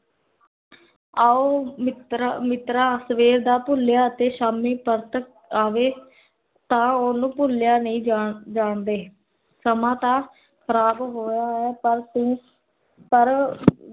ਆਓ ਮਿਤ੍ਰ, ਸਵੇਰ ਦਾ ਭੁਲਿਆ ਤੇ ਸ਼ਾਮੀ, ਪਰਤ ਆਵੇ ਤਾਂ ਓਨੂੰ ਭੁਲਿਆ ਨਹੀ ਜਾਣ ਜਾਨਦੇ ਸਮਾਂ ਤਾਂ ਖਰਾਬ ਹੋਇਆ ਹੈ ਪਰ ਤੂੰ ਪਰ